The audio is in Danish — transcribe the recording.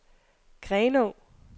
Grenå